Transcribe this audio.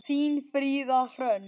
Þín, Fríða Hrönn.